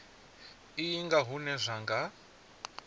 iyi nga hune zwa nga